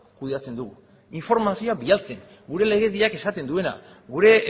kudeatzen dugu informazioa bidaltzen gure legediak esaten duena gure